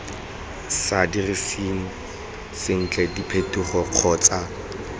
sa diriseng sentle diphetogo kgotsa